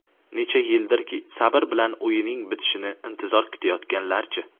Necha yildirki sabr bilan uyining bitishini intizor kutayotganlarchi?